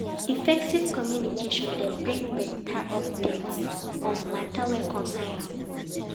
Effective communication dey bring better updates on matters wey concern am